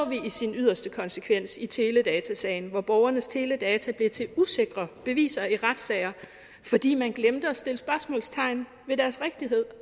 i sin yderste konsekvens i teledatasagen hvor borgernes teledata blev til usikre beviser i retssager fordi man glemte at sætte spørgsmålstegn ved deres rigtighed